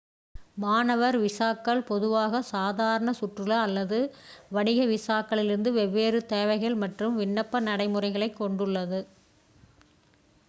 மாணவர் விசாக்கள் பொதுவாக சாதாரண சுற்றுலா அல்லது வணிக விசாக்களிலிருந்து வெவ்வேறு தேவைகள் மற்றும் விண்ணப்ப நடைமுறைகளைக் கொண்டுள்ளது